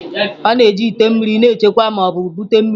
A na-eji ite mmiri na-echekwa ma ọ bụ bute mmiri.